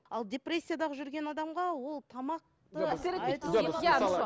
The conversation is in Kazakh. ал депрессиядағы жүрген адамға ол тамақ